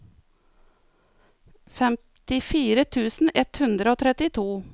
femtifire tusen ett hundre og trettito